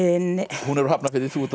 hún er úr Hafnarfirði þú ert úr